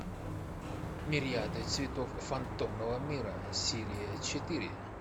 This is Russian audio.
мириады цветов фантомного мира серия четыре